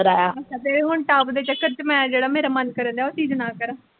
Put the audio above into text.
ਕਰਾਇਆ ਤੇ ਤੇਰੇ ਹੁਣ ਟਾਪ ਦੇ ਚੱਕਰ ਚ ਮੈਂ ਜਿਹੜਾ ਮੇਰਾ ਮੰਨ ਕਰਨ ਡੇਆ ਉਹ ਚੀਜ਼ ਨਾ ਕਰਾਂ।